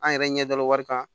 An yɛrɛ ɲɛ dara wari kan